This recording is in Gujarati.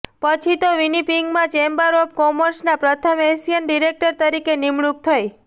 પછી તો વીનીપિંગમાં ચેમ્બર ઓફ કોમર્સમાં પ્રથમ એશિયન ડિરેક્ટ તરીકે નિમણૂક થઈ